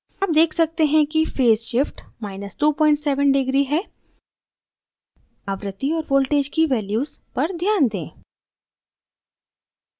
आप deg सकते हैं कि फेज़ shift 27 deg है आवृत्ति और voltages की values पर ध्यान दें